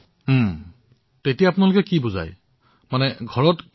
তাত কেনেদৰে বুজায় আপোনালোকে ঘৰত কি কি ব্যৱস্থা গ্ৰহণ কৰিব লাগে সেয়া অলপ কওক